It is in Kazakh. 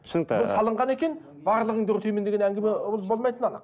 түсінікті бұл салынған екен барлығыңды өртеймін деген әңгіме ол болмайтыны анық